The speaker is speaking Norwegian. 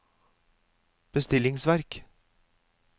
bestillingsverk